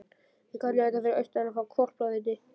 Við köllum þetta fyrir austan að fá hvolpavitið.